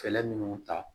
Fɛɛrɛ minnu ta